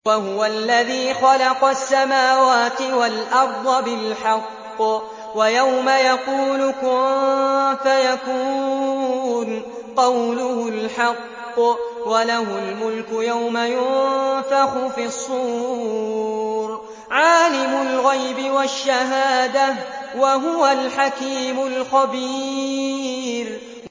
وَهُوَ الَّذِي خَلَقَ السَّمَاوَاتِ وَالْأَرْضَ بِالْحَقِّ ۖ وَيَوْمَ يَقُولُ كُن فَيَكُونُ ۚ قَوْلُهُ الْحَقُّ ۚ وَلَهُ الْمُلْكُ يَوْمَ يُنفَخُ فِي الصُّورِ ۚ عَالِمُ الْغَيْبِ وَالشَّهَادَةِ ۚ وَهُوَ الْحَكِيمُ الْخَبِيرُ